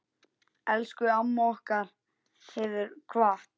Elsku amma okkar hefur kvatt.